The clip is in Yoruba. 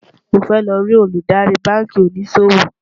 mó fẹ ló rí Olùdarí bánkì òní ṣòwò